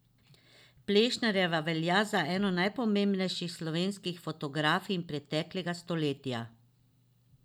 Plešnarjeva velja za eno najpomembnejših slovenskih fotografinj preteklega stoletja.